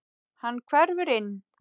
Hann hverfur inn.